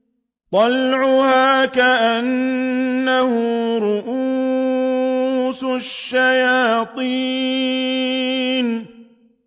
طَلْعُهَا كَأَنَّهُ رُءُوسُ الشَّيَاطِينِ